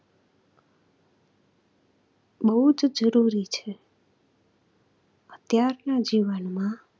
બહુ જ જરૂરી છે, અત્યારના જીવનમાં